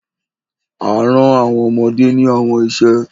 a rán àwọn ọmọdé ní àwọn iṣẹ